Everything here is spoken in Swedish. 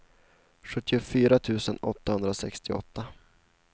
sjuttiofyra tusen åttahundrasextioåtta